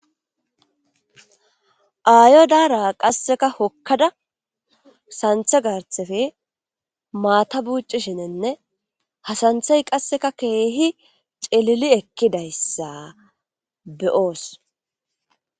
Aayo daara qasseka hokkada santhe garthefe maata buucishinenne hasanthay qasseka keehi celili ekkidayssa beyoos.